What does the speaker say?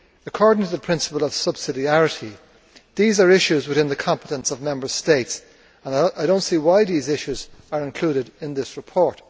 According to the principle of subsidiarity these are issues within the competence of Member States and I do not see why these issues are included in this report.